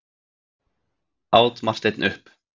át Marteinn upp.